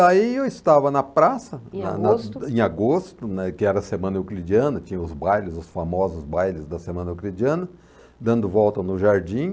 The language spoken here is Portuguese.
Aí eu estava na praça.... Em agosto? Em agosto, né, que era a Semana Euclidiana, tinha os bailes, os famosos bailes da Semana Euclidiana, dando volta no jardim.